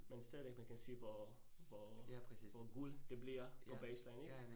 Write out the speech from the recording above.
Men stadigvæk man kan se, hvor hvor hvor gul det bliver på baseline ik?